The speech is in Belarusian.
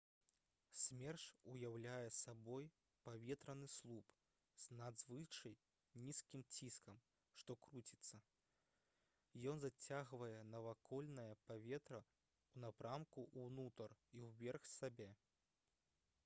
смерч уяўляе сабой паветраны слуп з надзвычай нізкім ціскам што круціцца ён зацягвае навакольнае паветра ў напрамку ўнутр і ўверх сябе